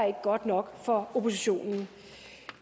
ikke godt nok for oppositionen